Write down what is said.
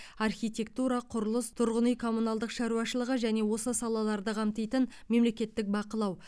архитектура құрылыс тұрғын үй коммуналдық шаруашылығы және осы салаларды қамтитын мемлекеттік бақылау